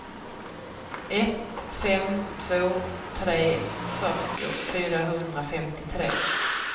ett fem två tre fyrtio fyrahundrafemtiotre